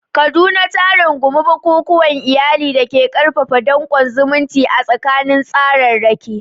Kaduna ta rungumi bukukuwan iyali da ke ƙarfafa danƙon zumunci a tsakanin tsararraki.